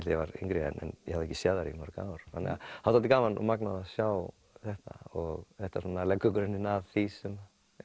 ég var yngri en hafði ekki séð þær í mörg ár það var dálítið magnað að sjá þetta og þetta leggur grunninn að því sem